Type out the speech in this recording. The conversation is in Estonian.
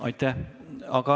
Aitäh!